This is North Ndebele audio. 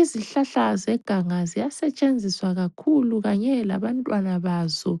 Izihlahla zeganga ziyasetshenziswa kakhulu kanye labantwana bazo,